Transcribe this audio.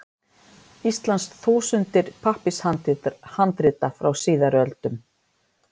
Íslands þúsundir pappírshandrita frá síðari öldum.